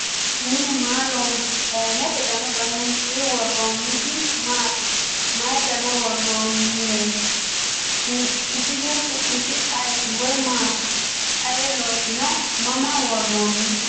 Minne maa loonse saayiinnette danu danunkunni woroonnitti maatti? Mayi daanna woroonnireetti isihu su'misi ayiitti? Woy maatti? Ayi loosinno? Mama woroonni?